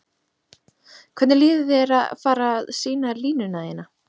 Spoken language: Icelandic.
Hvernig líður þér að vera fara sýna línuna þína?